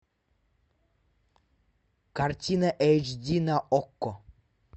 картина эйч ди на окко